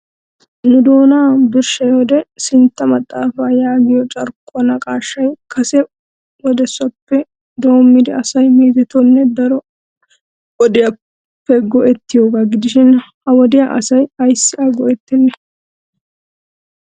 Nu doonaw birshshiyoode sintta maxaafa yaagiyo carkkuwaa naqaashshay kase wodesappe doommidi asay meezetidonne daro wodiyasappe go"oettiyooga gidishin ha wodiya asay ayssi a go"ettenne?